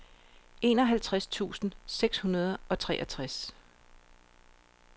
enoghalvtreds tusind seks hundrede og treogtres